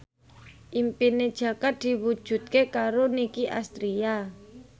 impine Jaka diwujudke karo Nicky Astria